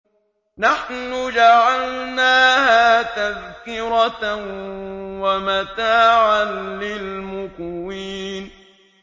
نَحْنُ جَعَلْنَاهَا تَذْكِرَةً وَمَتَاعًا لِّلْمُقْوِينَ